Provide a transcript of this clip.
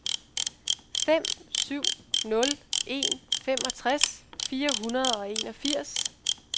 fem syv nul en femogtres fire hundrede og enogfirs